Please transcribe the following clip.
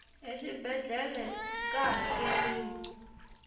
exibedlhele ka hakeriwa